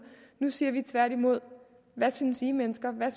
nu siger vi tværtimod hvad synes i mennesker der